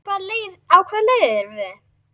Á hvaða leið erum við?